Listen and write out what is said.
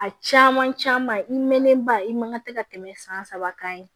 A caman caman i mɛnnen ba i man tɛ ka tɛmɛ san saba kan